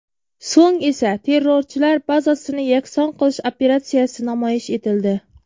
So‘ng esa terrorchilar bazasini yakson qilish operatsiyasi namoyish etildi.